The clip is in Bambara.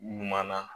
Ɲuman na